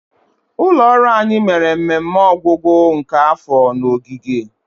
ụlọ ọrụ anyi mere mmemme ọgwụgwụ nke afọ na ogige.